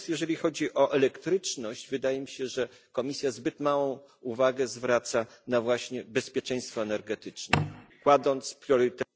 Natomiast jeżeli chodzi o elektryczność, wydaje mi się, że Komisja zbyt małą uwagę zwraca właśnie na bezpieczeństwo energetyczne, kładąc priorytet...